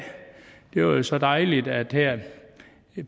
det er jo så dejligt at vi her